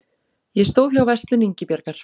Ég stóð hjá Verslun Ingibjargar